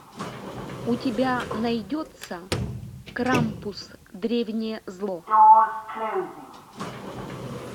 у тебя найдется крампус древнее зло